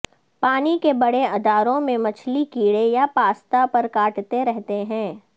پانی کے بڑے اداروں میں مچھلی کیڑے یا پاستا پر کاٹتے رہے ہیں